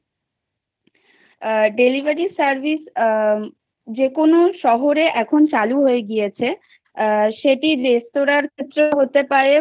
আ delivery service আ যে কোন শহরে এখন চালু হয়ে গিয়েছে সেটি রেস্তোরার ক্ষেত্রেও হতে পারে